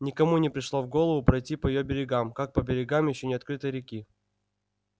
никому не пришло в голову пройти по её берегам как по берегам ещё не открытой реки